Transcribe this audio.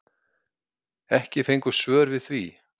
Ekki fengust svör við því.